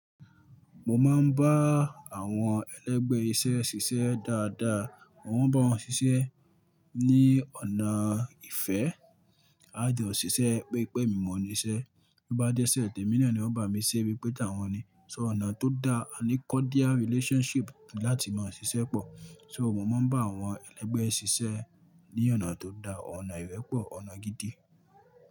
Mo máa ń bá àwọn ẹlẹ́gbẹ́ iṣẹ́ ṣiṣẹ́ dáadáa, mo ń bá wọn ṣiṣẹ́ ní ọ̀nà ìfẹ́. A jọ̀ ṣiṣẹ́ bi pẹ́ emi mọ̀ níṣẹ́, bí ó bá jẹ́sẹ̀ tè mí náà ni wọ́n bá mi ṣẹ́ wípé tàwọn ni. So ọ̀nà tó dá aní cordial relationship láti máa ṣiṣẹ́ pọ̀. So mo máa ń bá àwọn ẹlẹ́gbẹ́ ṣiṣẹ́ ní ọ̀nà tó dá, ọ̀nà ìrẹ́pọ̀, ọ̀nà gidi.